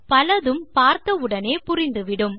பலதும் பார்த்தவுடனே புரிந்துவிடும்